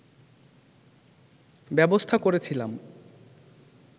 ব্যবস্থা করেছিলাম